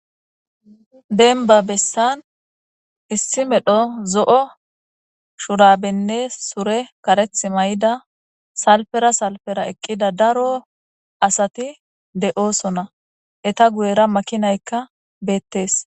denba bessan issi medho zo'o shurabenne sure kareth mayida salfera salfera eqqida daro asati de'osona,eta guyera makinaykka beettees